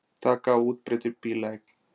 Taka á útbreiddri bílaeign